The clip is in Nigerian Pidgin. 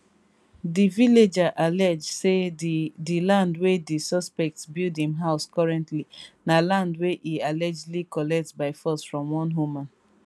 di villager allege say di di land wia di suspect dey build im house currently na land wey e allegedly collect by force from one woman